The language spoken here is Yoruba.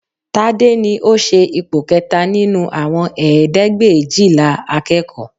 Tade ni ó ṣe ipò kẹta nínú àwọn ẹ̀ẹ́dẹ́gbẹ̀éjìlá akẹ́kọ̀ọ́